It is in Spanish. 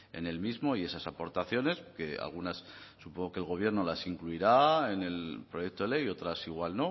en el mismo y esas aportaciones que algunas supongo que el gobierno las incluirá en el proyecto de ley otras igual